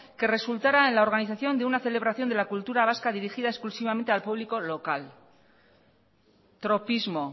que resultaran en la organización de una celebración de la cultura vasca dirigida exclusivamente al público local tropismo